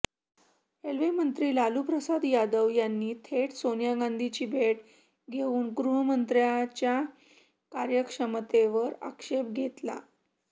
रेल्वेमंत्री लालू प्रसाद यादव यांनी थेट सोनिया गांधीची भेट घेऊन गृहमंत्रालयाच्या अकार्यक्षमतेवर आक्षेप घेतला